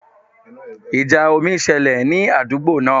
Ìjà omi ṣẹlẹ̀ ní àdúgbò náà